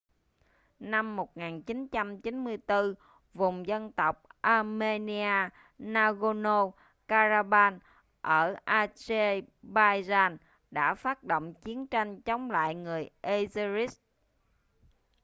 năm 1994 vùng dân tộc armenia nagorno-karabakh ở azerbaijan đã phát động chiến tranh chống lại người azeris